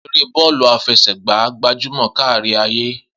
Eré bọ́ọ̀lù àfẹsẹ̀gbá gbajúmọ̀ kárí ayé.